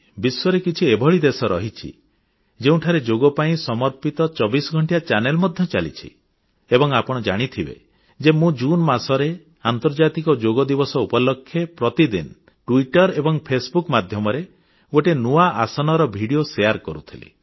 ବିଶ୍ୱରେ କିଛି ଏଭଳି ଦେଶ ରହିଛି ଯେଉଁଠାରେ ଯୋଗ ପାଇଁ ସମର୍ପିତ ଚବିଶ ଘଣ୍ଟିଆ ଚ୍ୟାନେଲ ମଧ୍ୟ ଚାଲିଛି ଏବଂ ଆପଣ ଜାଣିଥିବେ ଯେ ମୁଁ ଜୁନ ମାସରେ ଆନ୍ତର୍ଜାତିକ ଯୋଗ ଦିବସ ଉପଲକ୍ଷେ ପ୍ରତିଦିନ ଟ୍ବିଟର ଏବଂ ଫେସବୁକ ମାଧ୍ୟମରେ ଗୋଟିଏ ନୂଆ ଆସନର ଭିଡ଼ିଓ ଶେୟାର କରୁଥିଲି